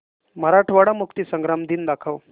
मराठवाडा मुक्तीसंग्राम दिन दाखव